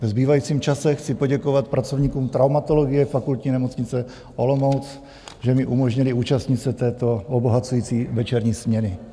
Ve zbývajícím čase chci poděkovat pracovníkům traumatologie Fakultní nemocnice Olomouc, že mi umožnili účastnit se této obohacující večerní směny.